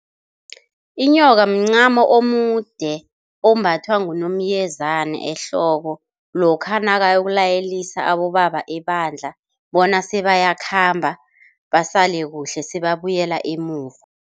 Inyoka mncamo omude ombathwa ngunomyezana ehloko lokha nakayokulayelisa abobaba ebandla bona sebayakhamba basale kuhle sebabuyela emuva.